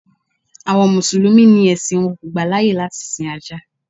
Àwọn Mùsùlùmí ni ẹ̀sìn wọn kò gbà láyè láti sin Ajá.